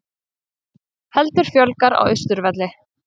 Heldur fjölgar á Austurvelli